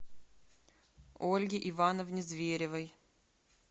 ольге ивановне зверевой